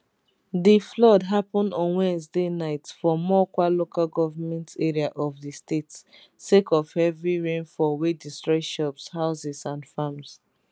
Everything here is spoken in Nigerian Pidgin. di flood happun on wednesday night for mokwa local goment area of di state sake of heavy rainfall wey destroy shops houses and farms